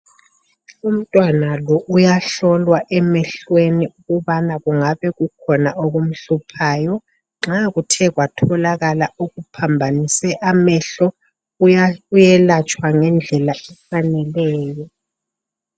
Umntwana lo uyahlolwa emehleni ukubana kungabe kukhona okumhluphayo. Nxa kuthe kwatholakala okuphambanise amehlo, uyelatshwa ngedlela efaneleyo.